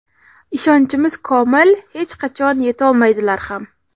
ishonchimiz komil hech qachon yetolmaydilar ham.